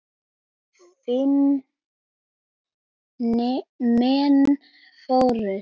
Fimm menn fórust.